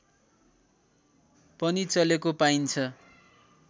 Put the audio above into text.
पनि चलेको पाइन्छ